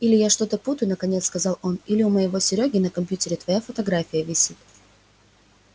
или я что-то путаю наконец сказал он или у моего серёги на компьютере твоя фотография висит